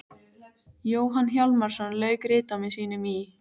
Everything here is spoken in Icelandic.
Jóhann Hjálmarsson lauk ritdómi sínum í